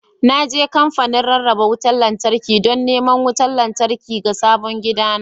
Na je kamfanin rarraba wutar lantarki don neman wutar lantarki ga sabon gidana